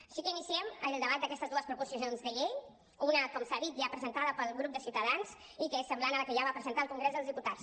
així que iniciem el debat d’aquestes dues proposicions de llei una com s’ha dit ja presentada pel grup de ciutadans i que és semblant a la que ja va presentar al congrés dels diputats